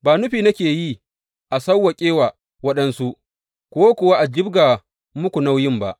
Ba nufi nake yi a sawwaƙe wa waɗansu, ku kuwa a jibga muku nauyin ba.